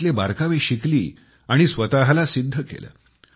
त्यातले बारकावे शिकली आणि स्वतःला सिद्ध केलं